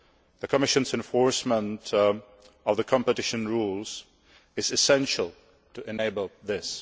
The Commission's enforcement of the competition rules is essential to enable this.